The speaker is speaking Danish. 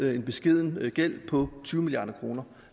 en beskeden gæld på tyve milliard kroner